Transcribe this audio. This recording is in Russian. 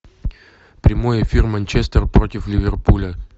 прямой эфир манчестер против ливерпуля